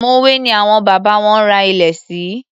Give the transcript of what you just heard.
Mòwé ni àwọn bàbá wọn ra ilẹ̀ sí.